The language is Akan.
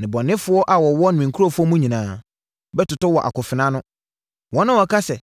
Nnebɔneyɛfoɔ a wɔwɔ me nkurɔfoɔ mu nyinaa bɛtotɔ wɔ akofena ano, wɔn a wɔka sɛ,